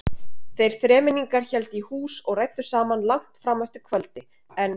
Þeir þremenningar héldu í hús og ræddu saman langt fram eftir kvöldi en